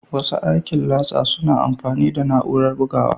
Masu aikin latsa suna aiki da na'urorin bugawa